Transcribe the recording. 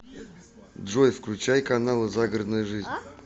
джой включай каналы загородная жизнь